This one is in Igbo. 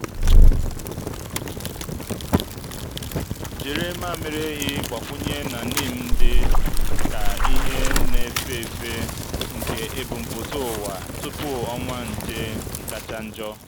jiri mmamịrị ehi gbakwụnye na neem dị ka ihe na-efe efe nke ebumpụta ụwa tupu ọnwa nje kacha njọ.